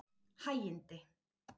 Hægindi